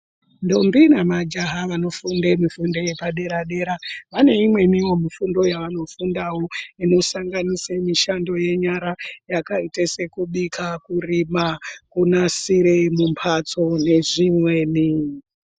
Ndombi nemajaya vanofunde mifundo yepadera dera vane imweniwo mifundo yavanofundawo inosanganisira mishando yenyara uakaite sekubika, kurima nekunasire mumhatso nezvimweni.